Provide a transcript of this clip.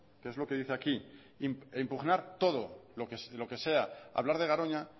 ue es lo que dice aquí e impugnar todo lo que sea hablar de garoña